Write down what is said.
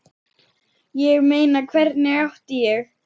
Ég meina, hvernig átti ég.?